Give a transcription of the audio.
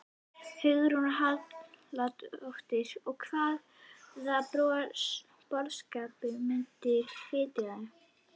Hugrún Halldórsdóttir: Og hvaða boðskap myndirðu flytja þeim?